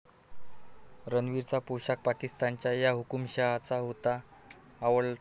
रणवीरचा पोशाख पाकिस्तानच्या 'या' हुकूमशहाचा होता आवडता